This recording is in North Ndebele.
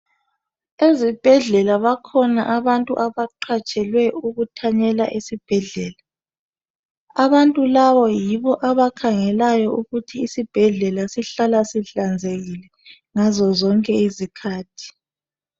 Ezibheflela bakhona abantu abaqatshelwe ukuthanyela esibhedlela. Labo bantu yibo abakhangelayo ukuthi isibhedlela sihlala sihlanzekile ngasosonke isikhathi.